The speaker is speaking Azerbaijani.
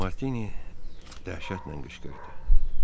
Martini dəhşətlə qışqırdı.